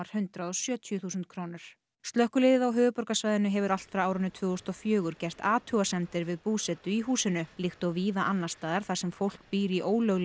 hundrað og sjötíu þúsund krónur slökkviliðið á höfuðborgarsvæðinu hefur allt frá árinu tvö þúsund og fjögur gert athugasemdir við búsetu í húsinu líkt og víða annars staðar þar sem fólk býr í ólöglegu